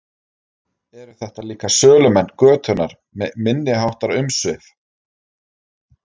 Eru þetta líka sölumenn götunnar með minniháttar umsvif?